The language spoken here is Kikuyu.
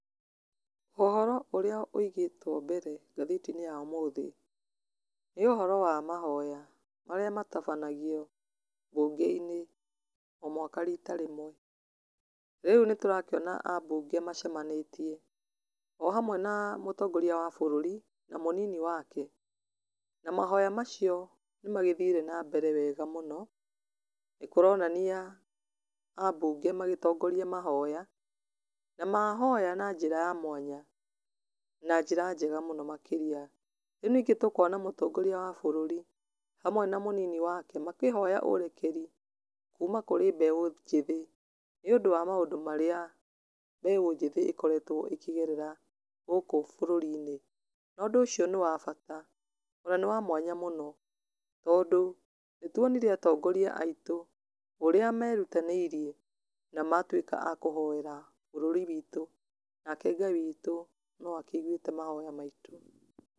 Ũhoro ũrĩa wĩigĩtwe mbere ngathĩti-inĩ ya ũmũthĩ, nĩ ũhoro wa mahoya, marĩa matabanagio bunge-inĩ o mwaka rita rĩmwe, rĩu nĩ tũrakĩona ambunge macemanĩtie, o hamwe na mũtongoria wa bũrũri, na mũnini wake, na mahoya macio nĩ magĩthire na mbere wega mũno, nĩ kũronania ambunge magĩgĩtongoria mahoya, na mahoya na njĩra ya mwanya, na njĩra njega mũno makĩria, rĩu ningĩ tũkona mũtongoria wa bũrũri, hamwe na mũnini wake makĩhoya ũrekeri kũma kũrĩ mbeũ njĩthĩ, nĩ ũndũ wa maũndũ marĩa mbeũ njĩthĩ ĩkoretwo ĩkĩgerera gũkũ bũrũri-inĩ, na ũndũ ũcio nĩ wa bata, ona nĩ wamwanya mũno, tondũ nĩ tuonire atongoria aitũ, ũrĩa merutanĩirie na matuĩka a kũhoera bũrũri witũ, nake Ngai witu noakĩigwĩte mahoya maitũ.